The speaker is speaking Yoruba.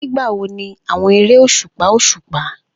Nigbawo ni awọn ere oṣupa oṣupa?